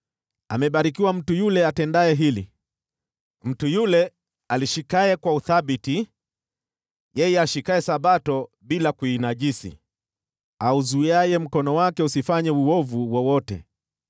Amebarikiwa mtu yule atendaye hili, mtu yule alishikaye kwa uthabiti, yeye ashikaye Sabato bila kuinajisi, auzuiaye mkono wake usifanye uovu wowote.”